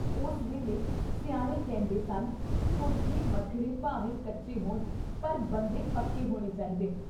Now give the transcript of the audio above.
ਉਸ ਵੇਲ਼ੇ ਸਿਆਣੇ ਕਹਿੰਦੇ ਸਨ ਕੋਠੇ ਮੱਠੜੇ ਭਾਵੇਂ ਕੱਚੇ ਹੋਣ ਪਰ ਬੰਦੇ ਪੱਕੇ ਹੋਣੇ ਚਾਹੀਦੇ।